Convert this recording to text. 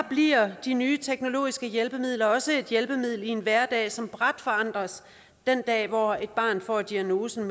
bliver de nye teknologiske hjælpemidler også et hjælpemiddel i en hverdag som brat forandres den dag hvor et barn får diagnosen